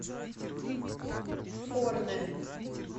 форне